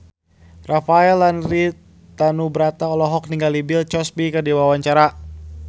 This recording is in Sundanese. Rafael Landry Tanubrata olohok ningali Bill Cosby keur diwawancara